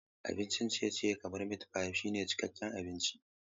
Abincin ciye-ciye kamar mitpai shine cikakken abinci.